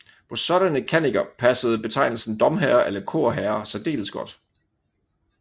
På sådanne kanniker passede betegnelsen domherrer eller korherrer særdeles godt